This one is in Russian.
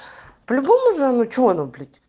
по-любому замучу оно блять